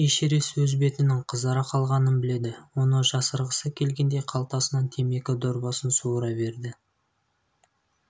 эшерест өз бетінің қызара қалғанын біледі оны жасырғысы келгендей қалтасынан темекі дорбасын суыра берді